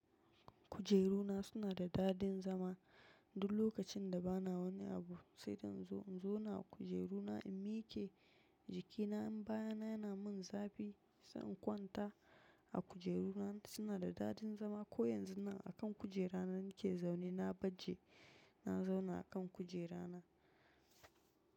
Kujeru na suna da dadin zama. Duk lokacin da bana wani abu, sai in zo na zauna a kujeru na in miƙe jiki na in baya na yana min zafi, sai in kwanta a kujeru na. Suna da dadin zama ko yanzun nan a kan kujera na nake zaune, na baje na zauna a kan kujera na.